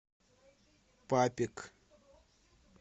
папик